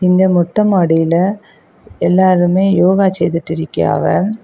இந்த மொட்ட மாடில எல்லாருமே யோகா செய்துட்டு இருக்கியாவ.